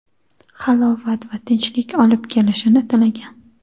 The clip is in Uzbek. halovat va tinchlik olib kelishini tilagan.